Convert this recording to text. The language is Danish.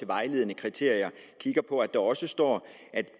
vejledende kriterier står